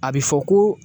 A bɛ fɔ ko